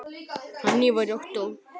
Þannig var Ottó.